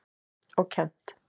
Og kennt.